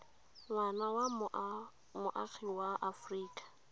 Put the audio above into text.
ngwana wa moagi wa aforika